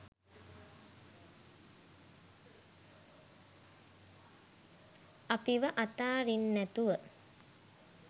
අපිව අතාරින්නැතුව